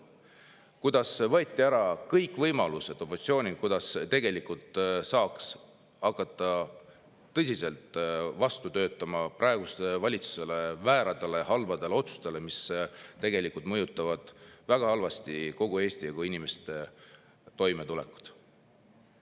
Opositsioonilt võeti ära kõik võimalused, kuidas saaks hakata tõsiselt vastu töötama praeguse valitsuse vääradele, halbadele otsustele, mis väga halvasti mõjutavad kogu Eestit ja inimeste toimetulekut.